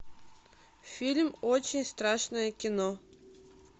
фильм очень страшное кино